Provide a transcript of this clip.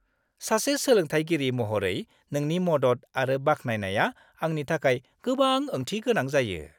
सासे सोलोंथायगिरि महरै नोंनि मदद आरो बाख्नायनाया आंनि थाखाय गोबां ओंथि गोनां जायो।